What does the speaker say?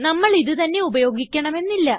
നമ്മൾ ഇത് തന്നെ ഉപയോഗിക്കണമെന്നില്ല